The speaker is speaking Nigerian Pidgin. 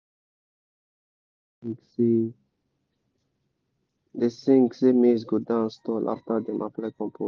my brother/sister pikin dey sing say dey sing say maize go dance tall after dem apply compost.